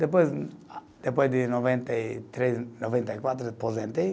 Depois, depois de noventa e três, noventa e quatro, aposentei.